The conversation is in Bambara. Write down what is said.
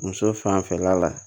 Muso fanfɛla la